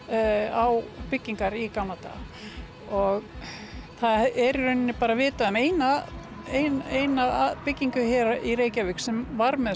á byggingar í gamla daga það er bara vitað um eina eina eina byggingu sem var með